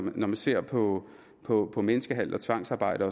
når man ser på på menneskehandel og tvangsarbejde